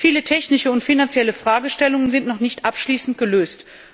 Viele technische und finanzielle Fragestellungen sind noch nicht abschließend gelöst.